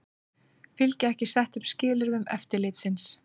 Fylgja ekki settum skilyrðum eftirlitsins